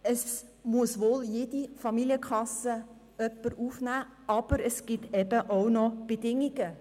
Jede Familienkasse muss jemanden aufnehmen, es gibt jedoch auch Bedingungen.